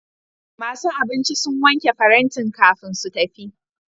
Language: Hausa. Masu abinci sun wanke farantin kafin su tafi.